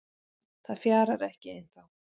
Það fjarar ekki ennþá